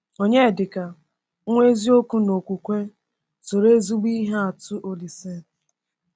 Onyedika, “nwa eziokwu n’okwukwe,” soro ezigbo ihe atụ Olísè.